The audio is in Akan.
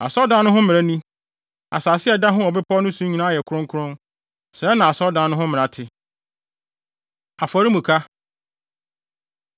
“Asɔredan no ho mmara ni: Asase a ɛda ho wɔ bepɔw no so nyinaa yɛ kronkron. Sɛɛ na asɔredan no ho mmara te. Afɔremuka